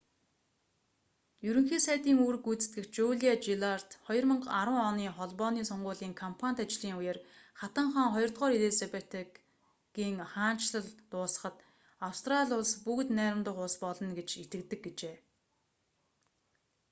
ерөнхий сайдын үүрэг гүйцэтгэгч жулиа жиллард 2010 оны холбооны сонгуулийн кампанит ажлын үеэр хатан хаан ii элизабетагийн хаанчлал дуусахад австрали улс бүгд найрамдах улс болно гэж итгэдэг гэжээ